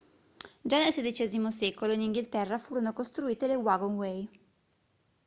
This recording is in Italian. già nel xvi secolo in inghilterra furono costruite le wagonway